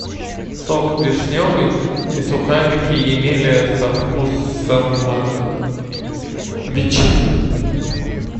сок вишневый и сухарики емеля со вкусом ветчины